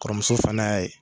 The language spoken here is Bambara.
Kɔrɔmuso fana y'a ye